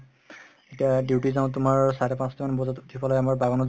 এতিয়া duty যাও তুমাৰ চাৰে পাচতামান বাজত উথি পেলাই মই বাগানত